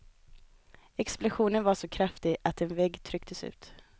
Explosionen var så kraftig att en vägg trycktes ut.